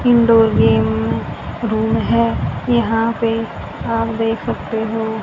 indoor game room है यहां पे आप देख सकते हो--